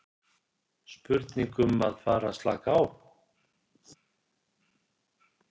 Spurning um að fara að slaka á?